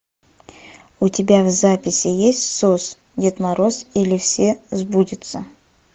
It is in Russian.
у тебя в записи есть сос дед мороз или все сбудется